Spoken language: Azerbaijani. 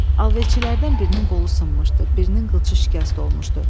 Alverçilərdən birinin qolu sınmışdı, birinin qıçı şikəst olmuşdu.